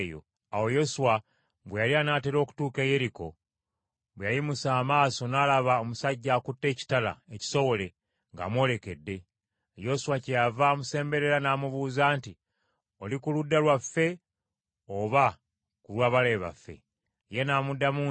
Awo Yoswa bwe yali anaatera okutuuka e Yeriko bwe yayimusa amaaso n’alaba omusajja akutte ekitala ekisowole ng’amwolekedde. Yoswa kyeyava amusemberera n’amubuuza nti, “Oli ku ludda lwaffe oba ku lwa balabe baffe?” Ye n’amuddamu nti,